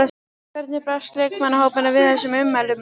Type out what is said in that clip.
Hvernig brást leikmannahópurinn við þessum ummælum?